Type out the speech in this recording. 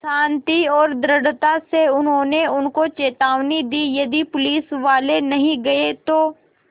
शान्ति और दृढ़ता से उन्होंने उनको चेतावनी दी यदि पुलिसवाले नहीं गए तो